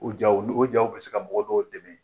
O jaw ni o jaw bɛ se ka mɔgɔ dɔw dɛmɛ